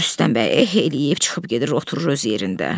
Rüstəm bəy eh eləyib çıxıb gedir oturur öz yerində.